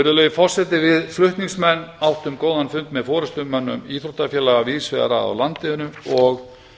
virðulegi forseti við flutningsmenn áttum góðan fund með forustumönnum íþróttafélaga víðs vegar að af landinu og